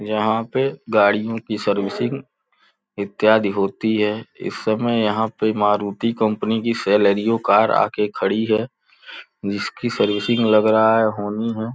यहाँ पे गाड़ियों की सर्विसिंग इत्यादि होती है। इस समय यहाँ पे मारुती कंपनी की सेलेरिओ कार यहाँ आ के खड़ी है। जिसकी सर्विसिंग लग रहा है होनी है।